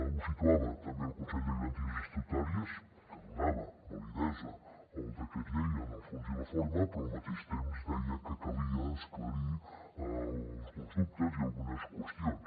ho situava també el consell de garanties estatutàries que donava validesa al decret llei en el fons i la forma però al mateix temps deia que calia esclarir alguns dubtes i algunes qüestions